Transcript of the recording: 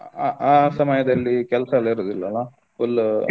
ಆ ಆ ಸಮಯದಲ್ಲಿ ಕೆಲಸ ಎಲ್ಲ ಇರುದಿಲ್ಲ ಅಲ full .